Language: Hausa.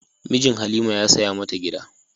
Mijin Halima ya saya mata gida.